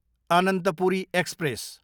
Ananthapuri express